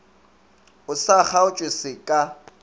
o sa kgaotše se ka